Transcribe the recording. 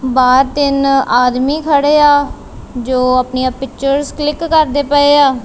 ਬਾਹਰ ਤਿੰਨ ਆਦਮੀ ਖੜੇ ਆ ਜੋ ਆਪਣੀਆਂ ਪਿਕਚਰਸ ਕਲਿੱਕ ਕਰਦੇ ਪਏ ਆ।